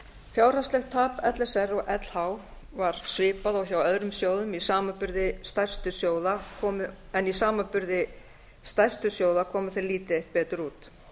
fjárhagslegt tap l s r og lh var svipað og hjá öðrum sjóðum en í samanburði stærstu sjóða komu þeir lítið eitt betur út